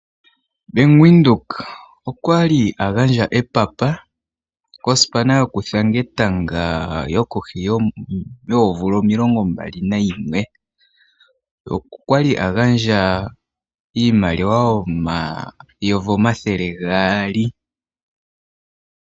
Bank Windhoek okwali a gandja epapa kosipana yokuthanga etanga yili kohi yoomvula 21 okwali a gandja oondola omayovi omathele gaali.